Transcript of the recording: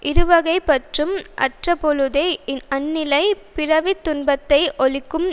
இருவகைப் பற்றும் அற்றபொழுதே அந்நிலை பிறவி துன்பத்தை ஒழிக்கும்